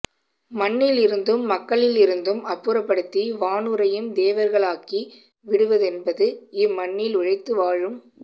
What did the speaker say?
மண்ணில் இருந்தும் மக்களிலிருந்தும் அப்புறப்படுத்தி வானுறையும் தேவர்களாக்கி விடுவதென்பது இம் மண்ணில் உழைத்து வாழும்